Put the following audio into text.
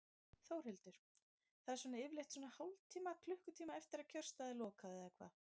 Þórhildur: Það er svona yfirleitt svona hálftíma, klukkutíma eftir að kjörstað er lokað eða hvað?